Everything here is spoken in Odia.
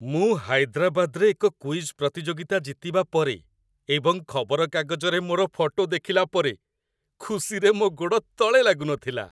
ମୁଁ ହାଇଦ୍ରାବାଦରେ ଏକ କୁଇଜ୍ ପ୍ରତିଯୋଗିତା ଜିତିବା ପରେ ଏବଂ ଖବରକାଗଜରେ ମୋର ଫଟୋ ଦେଖିଲା ପରେ ଖୁସିରେ ମୋ ଗୋଡ଼ ତଳେ ଲାଗୁନଥିଲା।